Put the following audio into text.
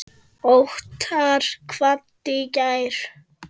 Óttar kvaddi í gær.